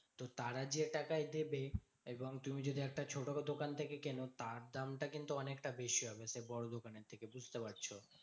তো তারা যে টাকায় দেবে এবং তুমি যদি একটি ছোট দোকান থেকে কেন। তার দামটা কিন্তু অনেকটা বেশি হবে। সে বড় দোকানের থেকে বুঝতে পারছো তো?